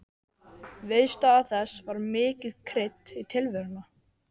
Viðstaða þess var mikið krydd í tilveruna.